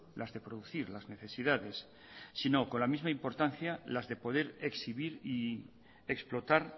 las de producir las necesidades sino con la misma importancia las de poder exhibir y explotar